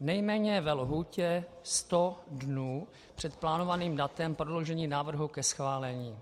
nejméně ve lhůtě 100 dnů před plánovaným datem prodloužení návrhu ke schválení.